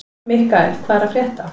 Mikkael, hvað er að frétta?